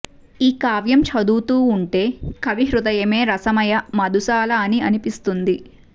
ఈ కావ్యం చదువుతూ ఉంటే కవి హృదయమే రసమయ మధుశాల అని అనిపిస్తుంది